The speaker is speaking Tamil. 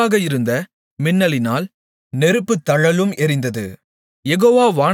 அவருக்கு முன்பாக இருந்த மின்னலினால் நெருப்புத்தழலும் எரிந்தது